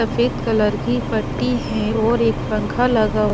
सफेद कलर की पट्टी है और एक पंखा लगा--